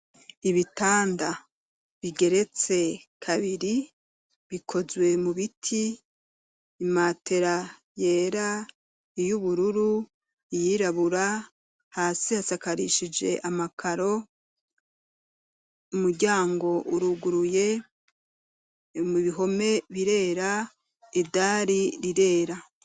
Ibitanda bigeretse kabiri bikozwe mu biti imatera yera iyo ubururu iyirabura hasi hasakarishije amakaro umuryango uruguruye mu bihome birera idari rirera.